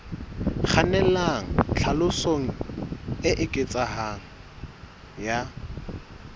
kgannelang tlhaselong e eketsehang ya